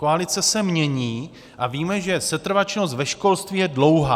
Koalice se mění a víme, že setrvačnost ve školství je dlouhá.